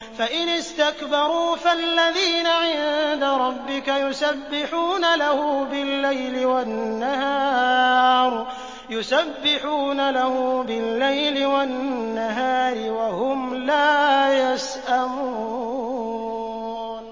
فَإِنِ اسْتَكْبَرُوا فَالَّذِينَ عِندَ رَبِّكَ يُسَبِّحُونَ لَهُ بِاللَّيْلِ وَالنَّهَارِ وَهُمْ لَا يَسْأَمُونَ ۩